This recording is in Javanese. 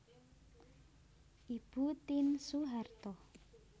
Ibu Tien Soeharto